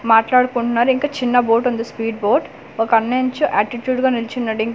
మాట్లాడుకుంటున్నారు ఇంకా చిన్న బోర్డు ఉంది స్వీట్ బోర్డ్ ఒక అన్నయుంచు ఆటిట్యూడ్ గా నిల్చున్నాడు ఇంక్.